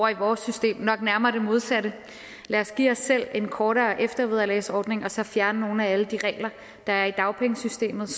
i vores system nok nærmere det modsatte lad os give os selv en kortere eftervederlagsordning og så fjerne nogle af alle de regler der er i dagpengesystemet